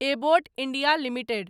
Abbott India limited